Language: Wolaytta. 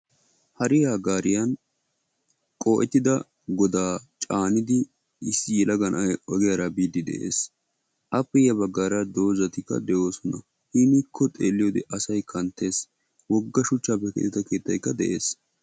Hariya gaariya qo"ettida goda caanidi issi yelaga na'ay ogyaara jbiide de'ees. Appe ya baggaara doozatilka de'oosona. Hinikko xeeliyooxe asay kanttees. Wogga shuchchappe keexxettida keettaykka de'ees.